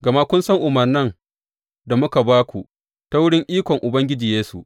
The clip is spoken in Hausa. Gama kun san umarnan da muka ba ku ta wurin ikon Ubangiji Yesu.